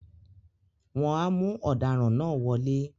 wọn á mú “ọdaràn” náà wọlé